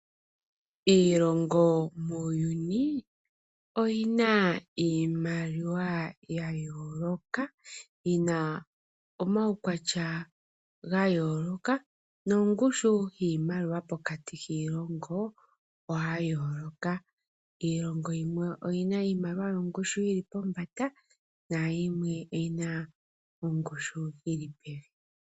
Iilongo muuyuni oyina iimaliwa yayoloka, yina omaukwatya gayoloka nongushu yiimaliwa pokati kiilongo oya yoloka. Iilongo yimwe oyina iimaliwa yongushu yili pombanda na yimwe oyina ongushu yili pevi.